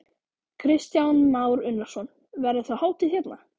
Kristján Már Unnarsson: Verður þá hátíð hérna?